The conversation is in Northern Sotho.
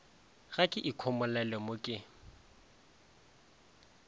ga ke ikhomolele mo ke